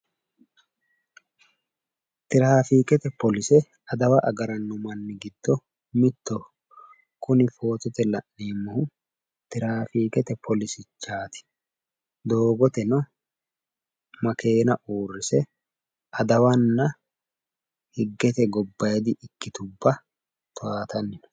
Tiraafiikete poolise adawa agaranno manni gido mittoho kuni footote la'neemmohu tiraafiikete poolisichaati doogoteno makeenna uurrise adawanna higgete gobbayidi ikkitubba towaatanni no.